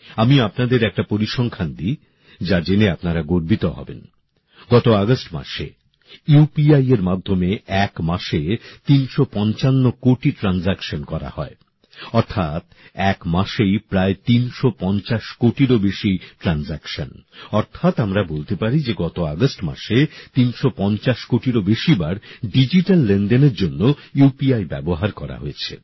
আমি আপনাদের একটা পরিসংখ্যান দিই যা জেনে আপনারা গর্বিত হবেন গত আগস্ট মাসে ইউপিআই এর মাধ্যমে এক মাসে ৩৫৫ কোটি লেন্দেন করা হয় অর্থাৎ একমাসেই প্রায়প্রায় ৩৫০ কোটিরও বেশি লেনদেন অর্থাৎ আমরা বলতে পারি যে গত আগস্ট মাসে ৩৫০ কোটিরও বেশি বার ডিজিটাল লেনদেনের জন্য ইউপিআই ব্যবহার করা হয়েছে